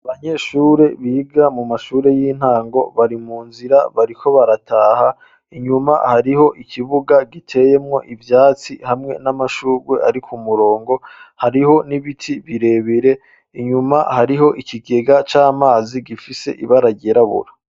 Abanyeshure biga mu mashure y'intango bari mu nzira bariko barataha inyuma hariho ikibuga giteyemwo ivyatsi hamwe n'amashurwe ariku murongo hariho n'ibiti birebere, inyuma hariho ikigega c'amazi gifise ibara ryirabura.